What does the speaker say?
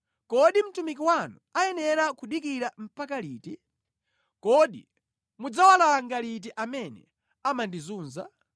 Kodi mtumiki wanu ayenera kudikira mpaka liti? Kodi mudzawalanga liti amene amandizunza?